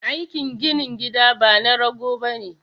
Aikin ginin gida bana rago bane